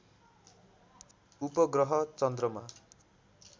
उपग्रह चन्द्रमा